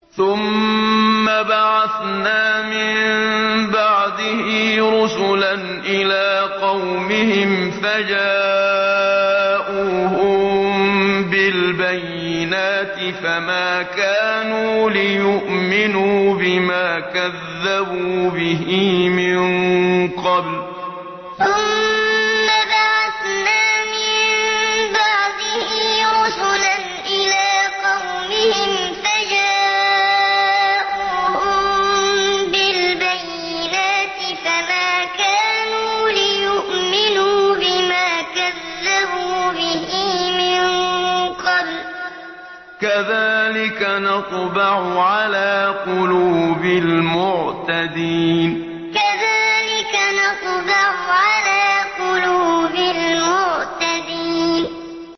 ثُمَّ بَعَثْنَا مِن بَعْدِهِ رُسُلًا إِلَىٰ قَوْمِهِمْ فَجَاءُوهُم بِالْبَيِّنَاتِ فَمَا كَانُوا لِيُؤْمِنُوا بِمَا كَذَّبُوا بِهِ مِن قَبْلُ ۚ كَذَٰلِكَ نَطْبَعُ عَلَىٰ قُلُوبِ الْمُعْتَدِينَ ثُمَّ بَعَثْنَا مِن بَعْدِهِ رُسُلًا إِلَىٰ قَوْمِهِمْ فَجَاءُوهُم بِالْبَيِّنَاتِ فَمَا كَانُوا لِيُؤْمِنُوا بِمَا كَذَّبُوا بِهِ مِن قَبْلُ ۚ كَذَٰلِكَ نَطْبَعُ عَلَىٰ قُلُوبِ الْمُعْتَدِينَ